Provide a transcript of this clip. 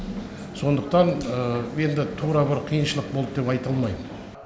сондықтан енді тура бір қиыншылық болды деп айта алмаймын